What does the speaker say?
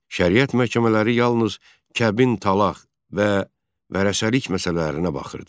Şəriət məhkəmələri yalnız kəbin, talaq və vərəsəlik məsələlərinə baxırdı.